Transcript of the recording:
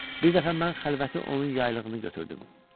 Bir dəfə mən xəlvəti onun yaylığını götürdüm.